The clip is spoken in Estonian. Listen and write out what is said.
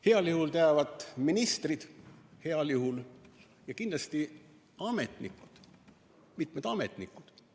Heal juhul teavad ministrid – heal juhul –, aga kindlasti teavad ametnikud, mitmed ametnikud.